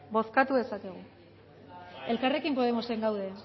elkarrekin podemosen gaude